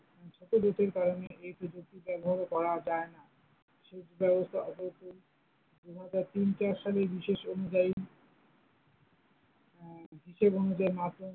ছোটো দুই তিন কারনে এই প্রযুক্তিতে একভাবে করা যাই না, সেচ ব্যবস্থা দুই হাজার তিন চার সালে হিসেব অনুযায়ী আহ হিসেব অনুযায়ীই ।